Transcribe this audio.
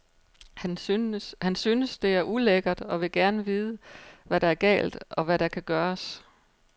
Han synes, det er ulækkert og vil gerne vide, hvad der er galt, og hvad der kan gøres.